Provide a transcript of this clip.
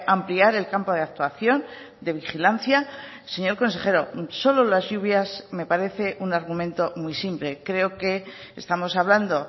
ampliar el campo de actuación de vigilancia señor consejero solo las lluvias me parece un argumento muy simple creoque estamos hablando